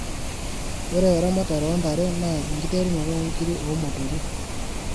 Ore eramatare oo ndare naa enkiterunoto o ngiri o motorik.